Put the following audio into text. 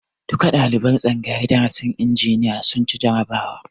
Duka ɗaliban tsangayar darasin injiniya sun ci jarabawa